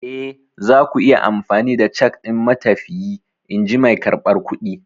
Eh, zaku iya amfani da cak ɗin matafiyi, in ji mai karɓar kuɗi.